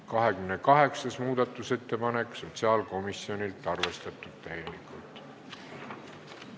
28. muudatusettepanek sotsiaalkomisjonilt, arvestatud täielikult.